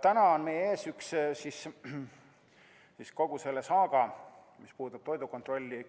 Täna on meie ees kogu selle saaga, mis puudutab toidukontrolli,